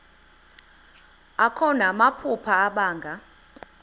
akho namaphupha abanga